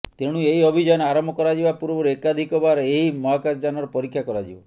ତେଣୁ ଏହି ଅଭିଯାନ ଆରମ୍ଭ କରାଯିବା ପୂର୍ବରୁ ଏକାଧିକବାର ଏହି ମହାକାଶ ଯାନର ପରୀକ୍ଷା କରାଯିବ